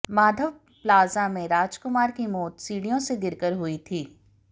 Madhav plaza में राजकुमार की मौत सीढिय़ों से गिरकर हुई थी